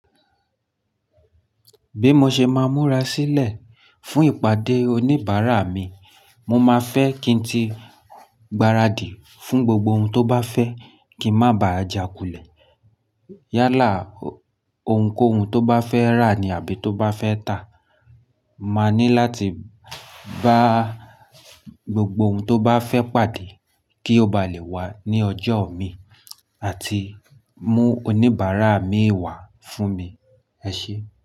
Bí mo ṣe máa múra sílẹ̀ fún ìpàdé oníbàárà mi, mo máa fẹ́ kí ń ti gbaradì fún gbogbo ohun tó bá fẹ́ kí n má bàjà kulẹ̀. Yálà ohunkóhun tó bá fẹ́ rà ni àbí tó bá fẹ́ tà. Ma ní láti bá gbogbo ohun tó bá fẹ́ pàdé kí ó ba lè wá ní ọjọ́ mi àti mú oníbàárà mi wá fún mi. Ẹ ṣe?